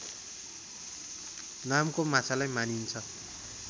नामको माछालाई मानिन्छ